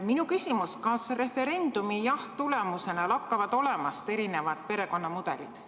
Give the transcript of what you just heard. Minu küsimus: kas referendumil saadud jahhi tulemusena lakkavad olemast erinevad perekonnamudelid?